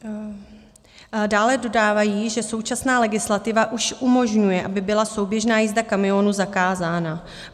Dále dodávají, že současná legislativa už umožňuje, aby byla souběžná jízda kamionů zakázána.